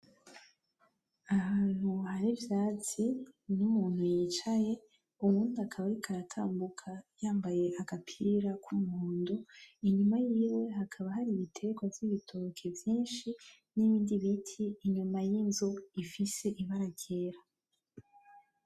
Ni ahantu hari ivyatsi, n’umuntu yicaye uwundi akaba ariko aratambuka yambaye agapira k’ umuhondo, inyuma yiwe hakaba hari ibitegwa vy’ibitoke vyinshi n’ibindi biti inyuma y’inzu bifise ibara ryera.